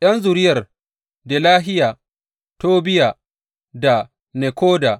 ’Yan zuriyar Delahiya, Tobiya, da Nekoda